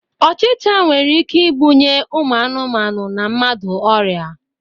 Ochịcha nwere ike ibunye ụmụ anụmanụ na mmadụ ọrịa.